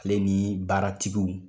Ale ni baaratigiw